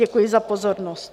Děkuji za pozornost.